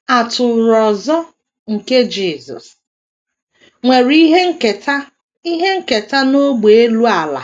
“ Atụrụ ọzọ ” nke Jisọs nwere ihe nketa ihe nketa n’ógbè elu ala